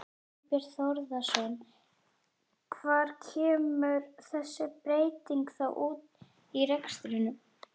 Þorbjörn Þórðarson: Hvar kemur þessi breyting þá út í rekstrinum?